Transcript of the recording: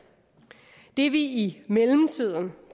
det vi i mellemtiden